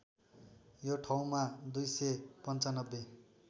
यो ठाउँमा २९५